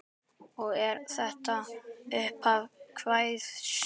Og er þetta upphaf kvæðis: